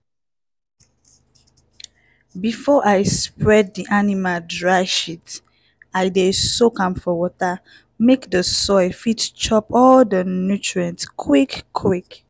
before i spread di animal dry shit i dey soak am for water make di soil fit chop all di nutrient quick-quick.